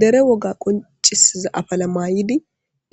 dere woga qoncisiza afala maayidi